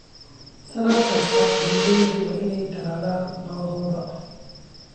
Sannad kasta, beeralaydu waa inay tallaalaan lo'dooda.